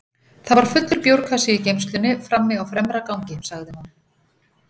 Það var fullur bjórkassi í geymslunni frammi á fremra gangi, sagði hún.